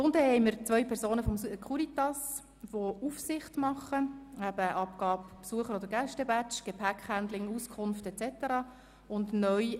Unten, im Eingangsbereich, haben wir zwei Personen von der Securitas, welche die Aufsicht übernehmen sowie die Abgabe der Besucher- oder Gäste-Badges, das Gepäckhandling, Auskünfte erteilen und so weiter.